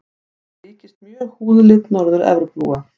Þetta líkist mjög húðlit Norður-Evrópubúa.